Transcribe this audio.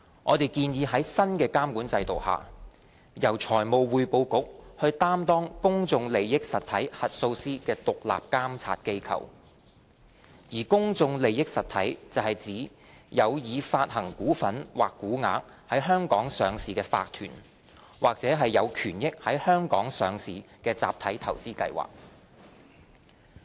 我們建議在新的監管制度下，由財務匯報局擔當公眾利益實體核數師的獨立監察機構，而公眾利益實體是指有已發行股份或股額在香港上市的法團或有權益在香港上市的集體投資計劃。